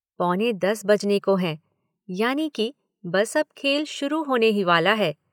पौने दस बजने को हैं यानि कि बस अब खेल शुरू होने ही वाला है।